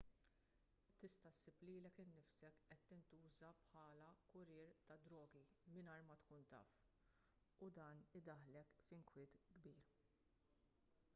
tista' ssib lilek innifsek qed tintuża bħala kurrier tad-drogi mingħajr ma tkun taf u dan idaħħlek f'inkwiet kbir